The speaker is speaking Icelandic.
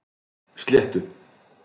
Sléttu